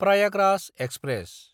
Prayagraj express